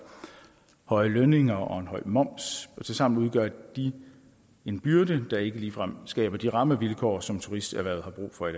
høje lønninger og en høj moms og tilsammen udgør de en byrde der ikke ligefrem skaber de rammevilkår som turismeerhvervet har brug for i